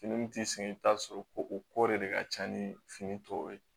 Fini min t'i sɛgɛn i bɛ t'a sɔrɔ ko o ko de ka ca ni fini tɔw ye